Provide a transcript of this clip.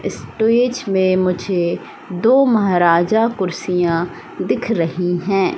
Stage में मुझे दो महाराजा कुर्सियां दिख रही हैं।